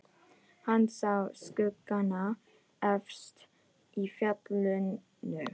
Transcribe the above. Hann sá skuggana efst í fjallinu.